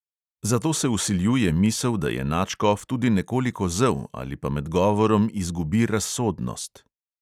Zato se vsiljuje misel, da je nadškof tudi nekoliko zel ali pa med govorom izgubi razsodnost.